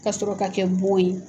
Ka sɔrɔ ka kɛ bon ye.